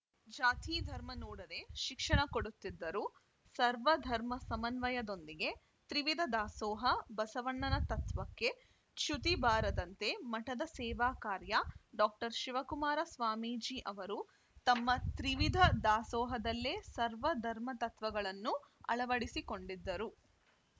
ಜಾತಿ ಧರ್ಮ ನೋಡದೇ ಶಿಕ್ಷಣ ಕೊಡುತ್ತಿದ್ದರು ಸರ್ವಧರ್ಮ ಸಮನ್ವಯದೊಂದಿಗೆ ತ್ರಿವಿಧ ದಾಸೋಹ ಬಸವಣ್ಣನ ತತ್ವಕ್ಕೆ ಚ್ಯುತಿ ಬಾರದಂತೆ ಮಠದ ಸೇವಾಕಾರ್ಯ ಡಾಕ್ಟರ್ ಶಿವಕುಮಾರ ಸ್ವಾಮೀಜಿ ಅವರು ತಮ್ಮ ತ್ರಿವಿಧ ದಾಸೋಹದಲ್ಲೇ ಸರ್ವ ಧರ್ಮ ತತ್ವಗಳನ್ನು ಅಳವಡಿಸಿಕೊಂಡಿದ್ದರು